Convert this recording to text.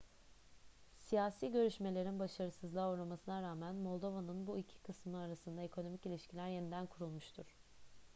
siyasi görüşmelerin başarısızlığa uğramasına rağmen moldova'nın bu iki kısmı arasında ekonomik ilişkiler yeniden kurulmuştur